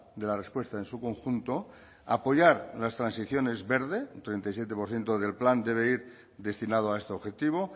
de la respuesta en su conjunto apoyar las transiciones verde un treinta y siete por ciento del plan deber ir destinado a este objetivo